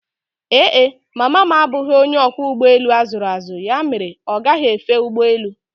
Ee e, mama m abụghị onye ọkwọ ụgbọelu a zụrụ azụ ya mere ọ gaghi efe ụgbọelu